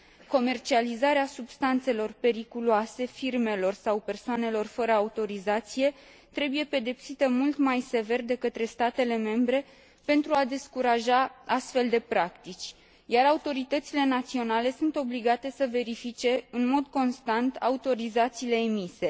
Comercializarea substanțelor periculoase firmelor sau persoanelor fără autorizație trebuie pedepsită mult mai sever de către statele membre pentru a descuraja astfel de practici, iar autoritățile naționale sunt obligate să verifice în mod constant autorizațiile emise.